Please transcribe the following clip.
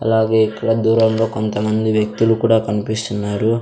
అలాగే ఇక్కడ దూరంలో కొంతమంది వ్యక్తులు కూడా కన్పిస్తున్నారు.